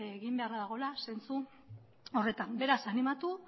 egin beharra dagoela zentzu horretan beraz animatu